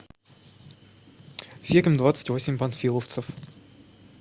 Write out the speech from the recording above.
фильм двадцать восемь панфиловцев